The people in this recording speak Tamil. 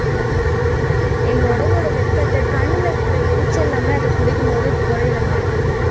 எங்க உடம்போட வெப்பத்தை கண்ணுல இருக்கிற எரிச்சல் எல்லாமே அது குடிக்கும் போது குறையிற மாதிரி இருக்கும்